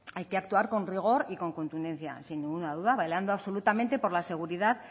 hay que actuar con rigor y con contundencia sin ninguna duda velando absolutamente por la seguridad